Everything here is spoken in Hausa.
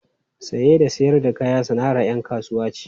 Saye da sayar da kaya sana’ar ‘yan kasuwa ce.